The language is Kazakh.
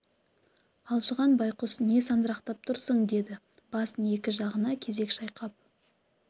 алжыған байқұс не сандырақтап тұрсың деді басын екі жағына кезек шайқап